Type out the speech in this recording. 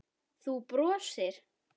Þú brosir.